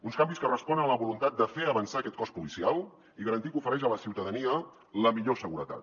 uns canvis que responen a la voluntat de fer avançar aquest cos policial i garantir que ofereix a la ciutadania la millor seguretat